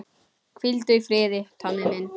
Hvíldu í friði, Tommi minn.